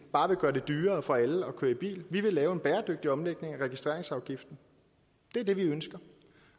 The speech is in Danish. bare vil gøre det dyrere for alle at køre i bil vi vil lave en bæredygtig omlægning af registreringsafgiften det er det vi ønsker